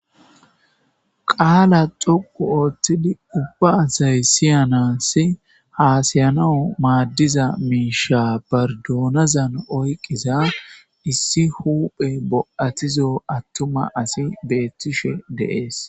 Qaala xoqu othid ubba asayi siyansi hasa'anawu madiza miisha baridunazani oyqiza issi huphey bo'atizo atuma assy beetishe de'es.